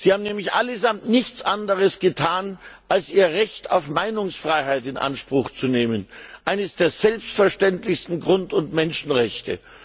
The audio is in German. Sie haben allesamt nichts anderes getan, als ihr Recht auf Meinungsfreiheit in Anspruch zu nehmen eines der selbstverständlichsten Grund und Menschenrechte!